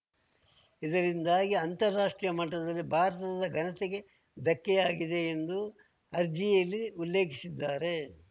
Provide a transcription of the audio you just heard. ಇದರಿಂದಾಗಿ ಅಂತಾರಾಷ್ಟ್ರೀಯ ಮಟ್ಟದಲ್ಲಿ ಭಾರತದ ಘನತೆಗೆ ಧಕ್ಕೆಯಾಗಿದೆ ಎಂದು ಅರ್ಜಿಯಲ್ಲಿ ಉಲ್ಲೇಖಿಸಿದ್ದಾರೆ